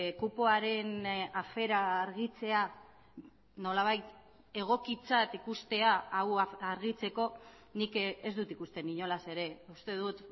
kupoaren afera argitzea nolabait egokitzat ikustea hau argitzeko nik ez dut ikusten inolaz ere uste dut